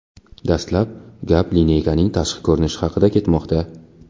Dastlab gap lineykaning tashqi ko‘rinishi haqida ketmoqda.